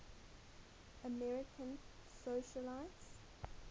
american socialites